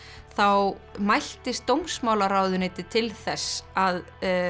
þá mæltist dómsmálaráðuneytið til þess að